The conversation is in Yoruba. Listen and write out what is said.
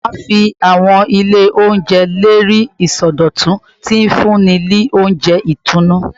Mama fi awọn ile ounjẹ le rii isọdọtun, ti nfunni ni ounjẹ itunu nostalgic